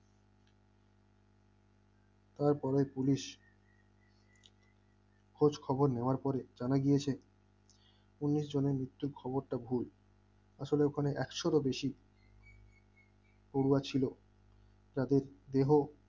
তারপরেও পুলিশ খোঁজখবর নেওয়ার পরে জানা গিয়েছে ঊনিশ জনের মৃত্যুর খবরটা ভুল আসলে ওখানে একশোরও বেশি পড়ুয়া ছিল যাদের দেহ